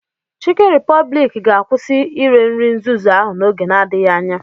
Chikin Repobliki ga-akwụsị ire nri nzuzu ahụ n'oge n'adịghị anya.